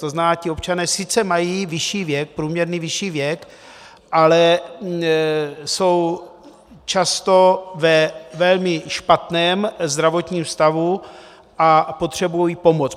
To znamená, ti občané sice mají vyšší věk, průměrný vyšší věk, ale jsou často ve velmi špatném zdravotním stavu a potřebují pomoc.